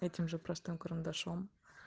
этим же простым карандашом